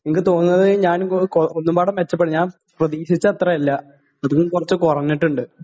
നിക്ക് തോന്നുന്നത് ഞാൻ ഒന്നുകൂടി മെച്ചപ്പെ...ഞാൻ പ്രതീക്ഷിച്ച അത്രേം ഇല്ല, അത്തീന്നും കുറച്ചു കുറഞ്ഞിട്ടുണ്ട്.